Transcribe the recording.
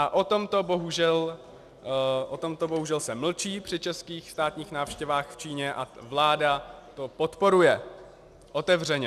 A o tomto bohužel se mlčí při českých státních návštěvách v Číně a vláda to podporuje otevřeně.